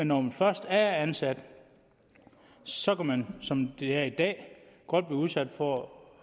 når man først er ansat så kan man som det er i dag godt blive udsat for